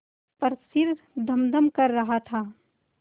पर सिर धमधम कर रहा था